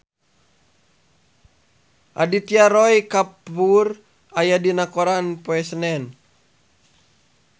Aditya Roy Kapoor aya dina koran poe Senen